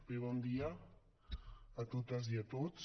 bé bon dia a totes i a tots